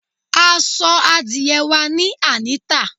À sọ́ àdiẹ wa ní Anita